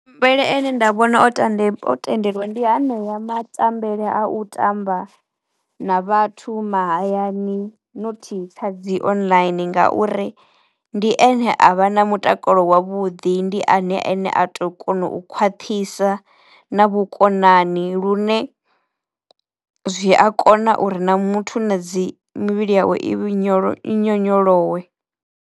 Nda vhona o tande o tendeliwa ndi hanea ma tambele a u tamba na vhathu mahayani not kha dzi online ngauri ndi ene a vha na mutakalo wa wavhuḓi, ndi ene ane a to kona u khwaṱhisa na vhukonani lune zwi a kona uri na muthu na dzi mivhili yawe i nyolo i nyonyolowe.